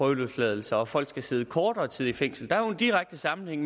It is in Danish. prøveløsladelse og at folk skal sidde kortere tid i fængsel der er jo en direkte sammenhæng